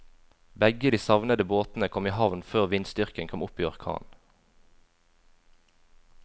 Begge de savnede båtene kom i havn før vindstyrken kom opp i orkan.